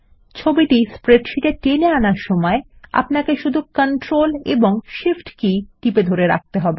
ছবিটি স্প্রেডশীটে টেনে আনার সময় শুধু কন্ট্রোল এবং শিফ্ট কী টিপে ধরে রাখুন